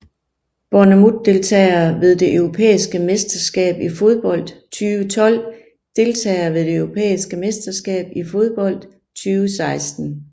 Bournemouth Deltagere ved det europæiske mesterskab i fodbold 2012 Deltagere ved det europæiske mesterskab i fodbold 2016